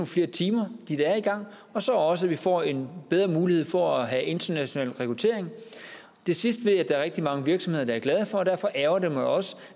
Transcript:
flere timer og så også at vi får en bedre mulighed for at have international rekruttering det sidste ved jeg at der er rigtig mange virksomheder der er glade for og derfor ærgrer det mig også